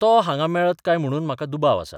तो हांगां मेळत काय म्हणून म्हाका दुबाव आसा.